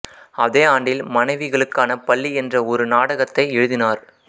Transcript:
அதே ஆண்டில் மனைவிகளுக்கான பள்ளி என்ற ஒரு நாடகத்தை எழுதினார்